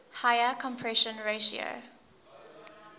higher compression ratio